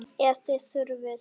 Ef þið þurfið.